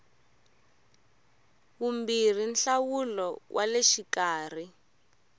vumbirhi nhlawulo wa le xikarhi